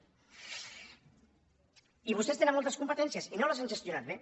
i vostès tenen moltes competències i no les han gestionat bé